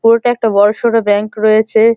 পুরোটা একটা বড় সড়ো ব্যাঙ্ক রয়েছে।